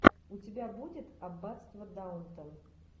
у тебя будет аббатство даунтон